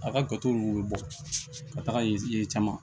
A ka gatow bɛ bɔ ka taga yen caman